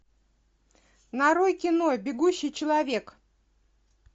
нарой кино бегущий человек